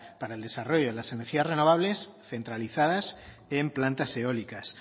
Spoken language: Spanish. para el desarrollo de las energías renovables centralizadas en plantas eólicas